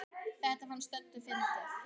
Þetta fannst Döddu fyndið.